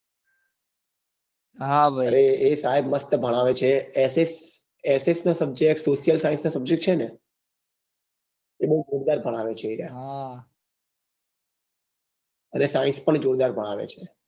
અરે એ સાહેબ મસ્ત ભણાવે છે એ s ss s નાં subject social science ના subject છે ને એ બઉ જોરદાર ભણાવે છે એ રહ્યા અને science પણ જોરદાર ભણાવે છે